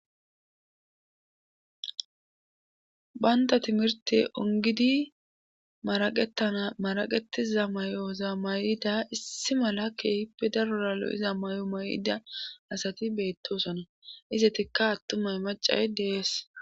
bantta timirtte onggidi maraqetana maraqettiza mayo mayida issi mala keehippe darora lo7iza mayo mayida asati beettoosona;izettikka attumay maccay de7ees.